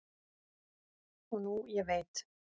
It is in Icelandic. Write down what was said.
og nú ég veit